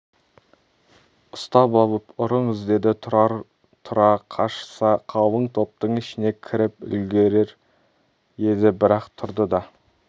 ұстап алып ұрыңыз деді тұрар тұра қашса қалың топтың ішіне кіріп үлгірер еді бірақ тұрды да